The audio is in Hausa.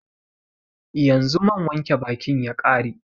Yanzu man wanke bakin ya ƙare